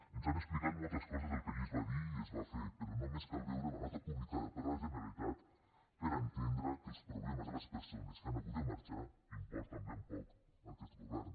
ens han explicat moltes coses del que allí es va dir i es va fer però només cal veure la nota publicada per la generalitat per a entendre que els problemes de les persones que han hagut de marxar importen ben poc a aquest govern